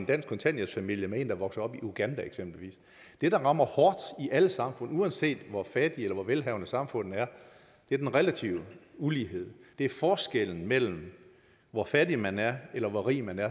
dansk kontanthjælpsfamilie med en er vokset op i uganda det der rammer hårdt i alle samfund uanset hvor fattig eller hvor velhavende samfundet er er den relative ulighed det er forskellen mellem hvor fattig man er eller hvor rig man er